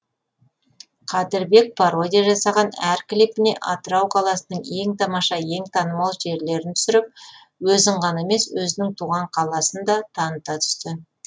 қадірбек пародия жасаған әр клипіне атырау қаласының ең тамаша ең танымал жерлерін түсіріп өзін ғана емес өзінің туған қаласында таныта түсті